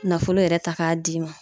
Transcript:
Nafolo yɛrɛ ta k'a d'i ma